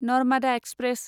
Narmada express